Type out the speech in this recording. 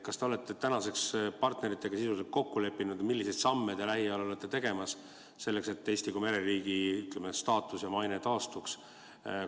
Kas te olete tänaseks partneritega sisuliselt kokku leppinud ja milliseid samme te lähiajal olete tegemas selleks, et Eesti kui mereriigi staatus ja maine taastuks?